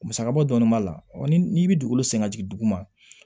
Musaka bɔ dɔɔnin b'a la ɔ ni n'i bɛ dugukolo sɛgɛn jigin dugu ma